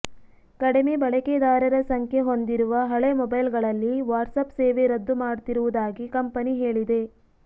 ಕಡಿಮೆ ಬಳಕೆದಾರರ ಸಂಖ್ಯೆ ಹೊಂದಿರುವ ಹಳೆ ಮೊಬೈಲ್ ಗಳಲ್ಲಿ ವಾಟ್ಸಾಪ್ ಸೇವೆ ರದ್ದು ಮಾಡ್ತಿರುವುದಾಗಿ ಕಂಪನಿ ಹೇಳಿದೆ